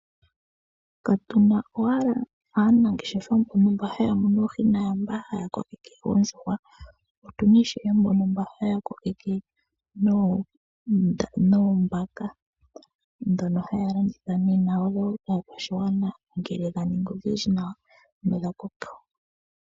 Katuna owala aanangeshefa mbono haya munu oohi naamba haya kokeke oondjuhwa. Otuna ishewe mba haya kokeke noombaka Ndhono haya landitha kaakwashigwana ngele dha ningi odhindji nawa nodha koka.